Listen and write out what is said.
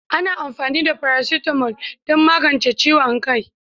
Ana amfani da "Paracetamol" don magance ciwon kai